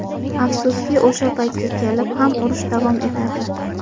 Afsuski, o‘sha paytga kelib ham, urush davom etardi.